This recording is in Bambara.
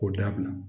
K'o dabila